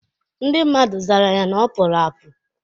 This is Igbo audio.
Ndị mmadụ zara ya na ọpụrụ apụ